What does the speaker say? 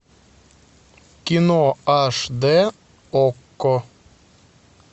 кино аш дэ окко